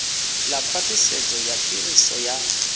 ḽa khwaṱhisedzo ya phiriso ya